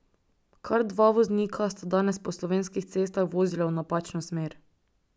Kar dva voznika sta danes po slovenskih cestah vozila v napačno smer.